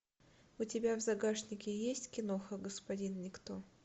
у тебя в загашнике есть киноха господин никто